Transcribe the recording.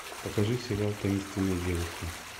покажи сериал таинственные девушки